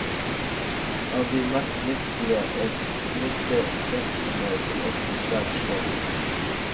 Av de mest nyttige er snyltehvepsene, som ofte er svært små.